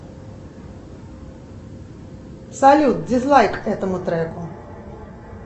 салют дизлайк этому треку